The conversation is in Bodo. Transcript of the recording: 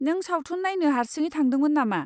नों सावथुन नायनो हारसिङै थांदोंमोन नामा?